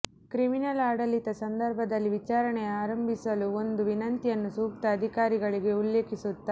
criminal ಆಡಳಿತ ಸಂದರ್ಭದಲ್ಲಿ ವಿಚಾರಣೆಯ ಆರಂಭಿಸಲು ಒಂದು ವಿನಂತಿಯನ್ನು ಸೂಕ್ತ ಅಧಿಕಾರಿಗಳಿಗೆ ಉಲ್ಲೇಖಿಸುತ್ತಾ